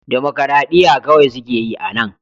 Dimokuradiyya kawai suke yi a nan